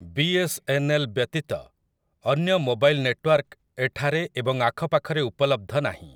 ବି S N L ବ୍ୟତୀତ ଅନ୍ୟ mobile network ଏଠାରେ ଏବଂ ଆଖପାଖରେ ଉପଲବ୍ଧ ନାହିଁ ।